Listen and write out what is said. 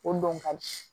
O don ka di